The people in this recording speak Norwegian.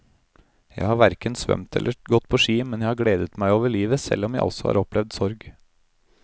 Jeg har hverken svømt eller gått på ski, men jeg har gledet meg over livet selv om jeg også har opplevd sorg.